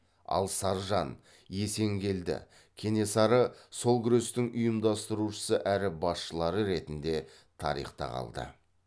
ал саржан есенгелді кенесары сол күрестің ұйымдастырушысы әрі басшылары ретінде тарихта қалды